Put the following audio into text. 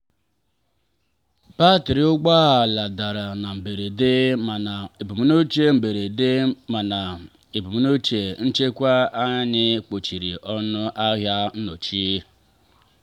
batrị ụgbọ ala dara na mberede mana ebumnuche mberede mana ebumnuche nchekwa anyị kpuchiri ọnụ ahịa nnọchi.